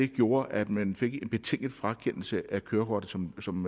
gjorde at man fik en betinget frakendelse af kørekortet som som